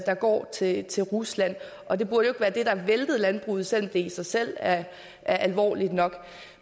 der går til til rusland og det burde jo være det der væltede landbruget selv om det i sig selv er alvorligt nok